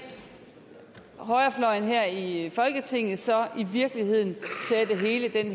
højrefløjen her i folketinget så i virkeligheden sætte hele den